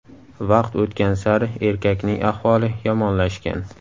Vaqt o‘tgan sari erkakning ahvoli yomonlashgan.